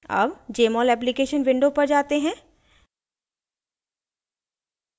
अब jmol application window पर जाते हैं